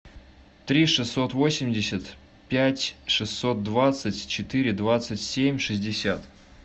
три шестьсот восемьдесят пять шестьсот двадцать четыре двадцать семь шестьдесят